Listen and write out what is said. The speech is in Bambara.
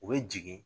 U bɛ jigin